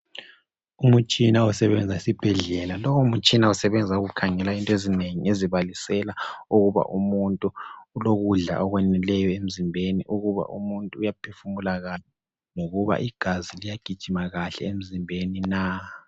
Umtshina osebenza esibhedlela lowomtshina usebenza ukukhangela into ezinengi ezibalisela ukuba umuntu ulokudla okwaneleyo emzimbeni, ukuba umuntu uyaphefumula kahle, lokuba igazi liyagijima kahle emzimbeni na.